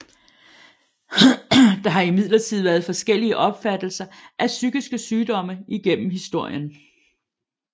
Der har imidlertid været forskellige opfattelser af psykiske sygdomme igennem historien